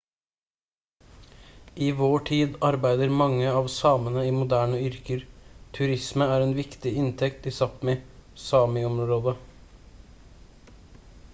i vår tid arbeider mange av samene i moderne yrker. turisme er en viktig inntekt i sápmi sámi-området